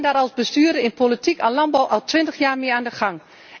Ik ben daar als bestuurder in politiek en landbouw al twintig jaar mee aan de gang.